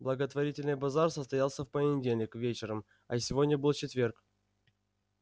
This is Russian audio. благотворительный базар состоялся в понедельник вечером а сегодня был четверг